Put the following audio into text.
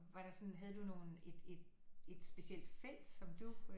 Var der sådan havde du nogen et specielt felt som du øh